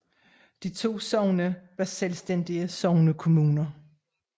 De to sogne var selvstændige sognekommuner